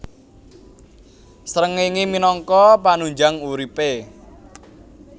Srengéngé minangka panunjang uripé